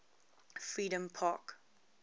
freedompark